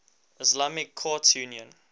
islamic courts union